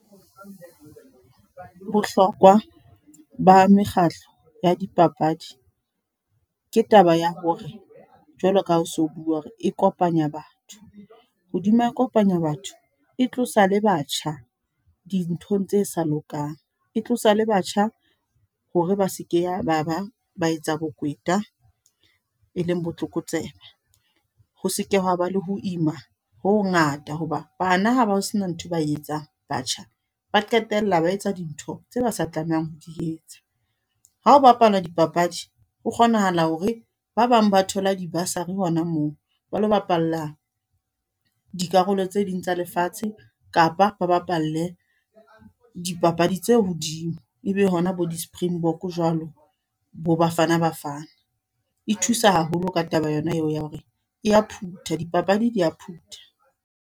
Bohlokwa, ba mekgahlo ya dipapadi. Ke taba ya hore, jwalo ka ha o so bua hore e kopanya batho. Hodima e kopanya batho. E tlosa le batjha, dinthong tse sa lokang. E tlosa le batjha, hore ba seke ya ba ba ba etsa bokweta, e leng botlokotsebe. Ho seke wa ba le ho ima ho ho ngata. Hoba, bana ha ba sena ntho ba etsa, batjha. Ba qetella ba etsa dintho tse ba sa tlamehang ho di etsa. Ha o bapala dipapadi, ho kgonahala hore ba bang ba thola di-bursary hona moo. Ba lo bapalla, dikarolo tse ding tsa lefatshe. Kapa ba bapalle dipapadi tse hodimo. E be hona bo di-Springbok jwalo, bo Bafana Bafana. E thusa haholo ka taba yona eo ya hore e ya phutha, di papadi di a phutha.